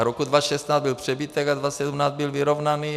A roku 2016 byl přebytek a 2017 byl vyrovnaný.